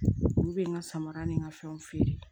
Olu bɛ n ka samara ni n ka fɛnw feere